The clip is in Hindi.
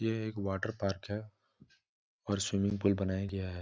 ये एक वाटरपार्क है और स्विमिंग पुल बनाया गया हैं।